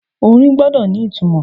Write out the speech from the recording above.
Orin gbọ́dọ̀ ni ìtumò.